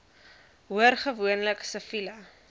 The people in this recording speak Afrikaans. hoor gewoonlik siviele